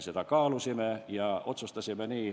Me kaalusime ja otsustasime nii.